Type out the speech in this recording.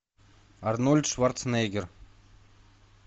арнольд шварценеггер